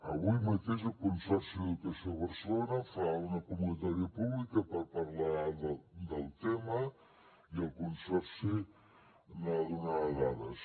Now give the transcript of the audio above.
avui mateix el consorci d’educació de barcelona fa una convocatòria pública per parlar del tema i el consorci ne donarà dades